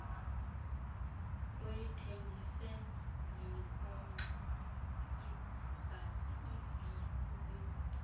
uyithengise ngenkonxa ibikuyo